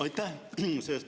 Aitäh!